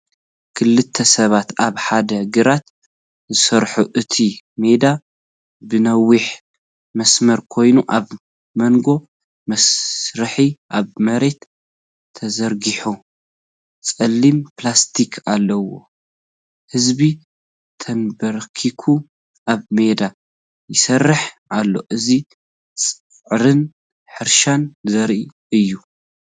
ክልተ ሰባት ኣብ ሓደ ግራት ዝሰርሑ፣ እቲ ሜዳ ብነዊሕ መስርዕ ኮይኑ፡ ኣብ መንጎ መስርዕ ኣብ መሬት ተዘርጊሑ ጸሊም ፕላስቲክ ኣሎ። ህዝቢ ተንበርኪኹ ኣብ ሜዳ ይሰርሕ ኣሎ። እዚ ጻዕርን ሕርሻን ዘርኢ እዩ።